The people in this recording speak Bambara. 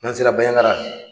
N'an sera Baɲaŋara